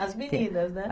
As meninas, né?